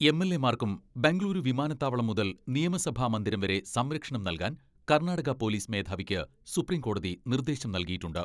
എൽ.എമാർക്കും ബംഗുളൂരു വിമാനത്താവളം മുതൽ നിയമസഭാ മന്ദിരം വരെ സംരക്ഷണം നൽകാൻ കർണാടക പൊലീസ് മേധാവിക്ക് സുപ്രീം കോടതി നിർദേശം നൽകിയിട്ടുണ്ട്.